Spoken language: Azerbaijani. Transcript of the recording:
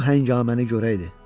Bu hängaməni görəydi.